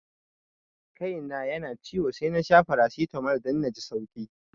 Kai na yana ciwo sai nasha faracitamol dan naji sauki